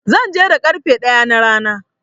Zan je da ƙarfe ɗaya na rana.